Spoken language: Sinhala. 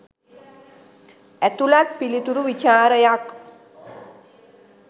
ඇතුලත් පිලිතුරු විචාරයක්